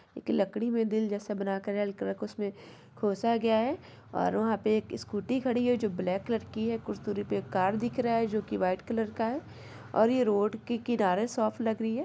एक लकड़ी में दिल जैसा बनाकर उसमें खोसा गया है और वहां पर एक स्कूटी खड़ी है जो ब्लैक कलर की है कुछ तो दिख रहा है जो की वाइट कलर का है और ये रोड के किनारे शॉप लग रही है।